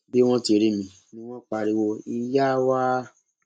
bí wọn ti rí mi ni ni wọn pariwo ìyáa wa